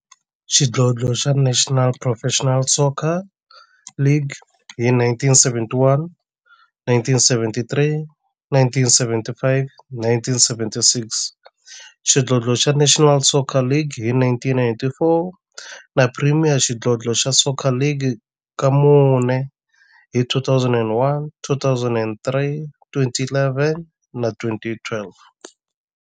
Xidlodlo xa National Professional Soccer League hi 1971, 1973, 1975 na 1976, xidlodlo xa National Soccer League hi 1994, na Premier Xidlodlo xa Soccer League ka mune, hi 2001, 2003, 2011 na 2012.